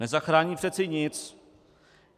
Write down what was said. Nezachrání přece nic.